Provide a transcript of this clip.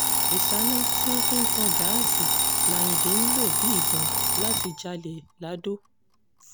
ìṣáná tí wọ́n fi ń tan gáàsì làyíǹde ń ń lò bíi ìbọn láti jalè ladò